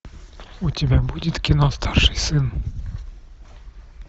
у тебя будет кино старший сын